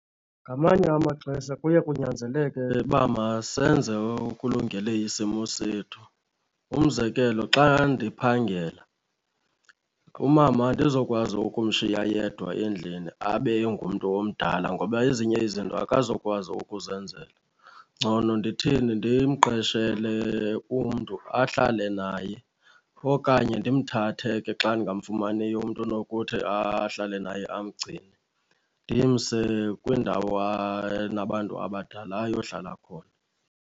Ngamanye amaxesha kuye kunyanzeleke uba masenze okulungele isimo sethu. Umzekelo, xa ndiphangela umama andizokwazi ukumshiya yedwa endlini abe engumntu omdala ngoba ezinye izinto akazokwazi ukuzenzela. Ngcono ndithini, ndimqeshele umntu ahlale naye okanye ndimthathe ke xa ndingamfumaniyo umntu onokuthi ahlale naye amgcine ndimse kwindawo enabantu abadala ayohlala khona.